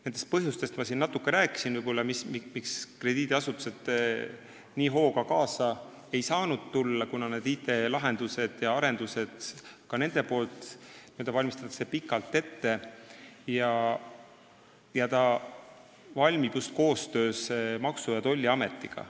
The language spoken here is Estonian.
Nendest põhjustest ma siin natuke rääkisin, miks krediidiasutused nii hooga kaasa ei saanud tulla – nad valmistavad IT-lahendusi ja -arendusi pikalt ette ja need valmivad paralleelselt koostöös Maksu- ja Tolliametiga.